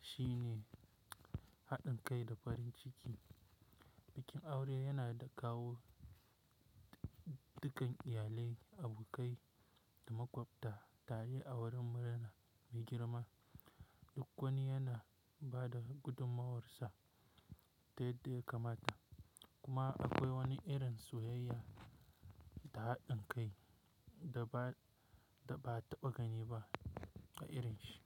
shine haɗin kai da farin ciki. Bikin aure yana da kawo dukkan iyalai, abokai da makwabta tare a wurin murna mai girma. Duk wani yana ba da gudummawarsa ta yadda kamata, kuma akwai wani irin soyayya da haɗin kai da ba a taɓa gani ba a irin shi.